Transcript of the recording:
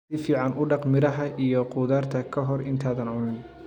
Si fiican u dhaq miraha iyo khudaarta ka hor intaadan cunin.